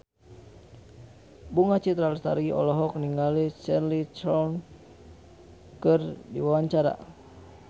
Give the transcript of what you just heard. Bunga Citra Lestari olohok ningali Cheryl Crow keur diwawancara